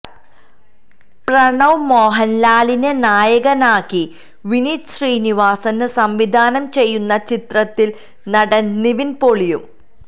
പ്രണവ് മോഹന്ലാലിനെ നായകനാക്കി വിനീത് ശ്രീനിവാസന് സംവിധാനം ചെയ്യുന്ന ചിത്രത്തില് നടന് നിവിന് പോളിയും